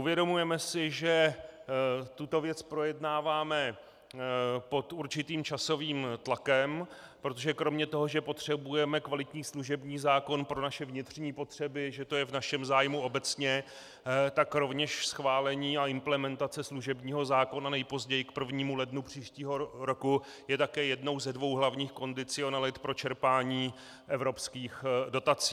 Uvědomujeme si, že tuto věc projednáváme pod určitým časovým tlakem, protože kromě toho, že potřebujeme kvalitní služební zákon pro naše vnitřní potřeby, že to je v našem zájmu obecně, tak rovněž schválení a implementace služebního zákona nejpozději k 1. lednu příštího roku je také jednou ze dvou hlavních kondicionalit pro čerpání evropských dotací.